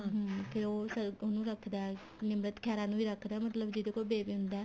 ਹਮ ਫੇਰ ਉਹ ਸਰਗੁਣ ਨੂੰ ਰੱਖਦਾ ਨਿਮਰਤ ਖਹਿਰਾ ਨੂੰ ਵੀ ਰੱਖਦਾ ਮਤਲਬ ਜਿਦੇ ਕੋਲ baby ਹੁੰਦਾ